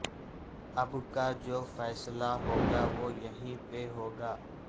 اب کہ جو فیصلہ ہوگا وہ یہیں پہ ہوگا